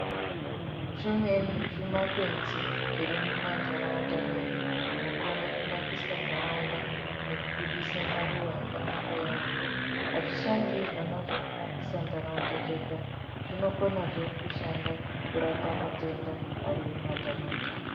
Zvimweni zvimakwenzi zviri mumhanharaunda medu zvinokone kunakise ntaraunda ngekubudise maruwa akanaka yambo azvishandi kunasira ntaraunda zvega zvinoganazve kushanda kurapa matenda arimumantaraunda